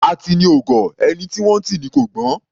Atini ò gọ̀; ẹni tí wọ́n ńtì ni kò gbọ́n.